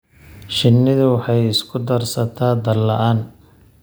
Shinnidu waxay isku darsataa daal la'aan.